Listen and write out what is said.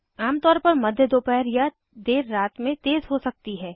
आमतौर पर मध्य दोपहर या देर रात में तेज़ हो सकती है